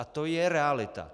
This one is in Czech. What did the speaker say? A to je realita.